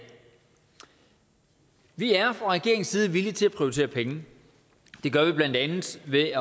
vi er fra regeringens side villige til at prioritere penge det gør vi blandt andet ved